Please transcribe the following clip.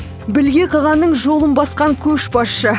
білге қағанның жолын басқан көшбасшы